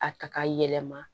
A ta ka yɛlɛma